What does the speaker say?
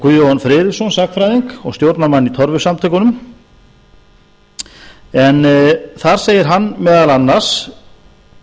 guðjón friðriksson sagnfræðing og stjórnarmann í torfusamtökunum en þar segir hann meðal annars